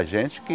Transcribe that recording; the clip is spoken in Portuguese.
A gente que...